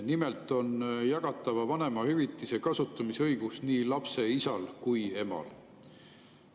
Nimelt on jagatava vanemahüvitise kasutamise õigus nii lapse isal kui ka emal.